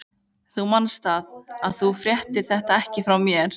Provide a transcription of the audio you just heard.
Þú manst það, að þú fréttir þetta ekki frá mér.